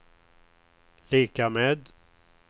lika med